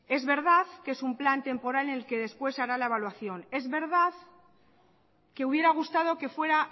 es verdad que es un plan temporal en el que después se hará la valoración es verdad que hubiera gustado que fuera